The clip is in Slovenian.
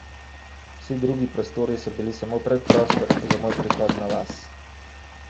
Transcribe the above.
Vsi drugi prostori so bili samo predprostor za moj prihod na vas.